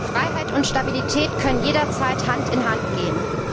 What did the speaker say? Freiheit und Stabilität können jederzeit Hand in Hand gehen.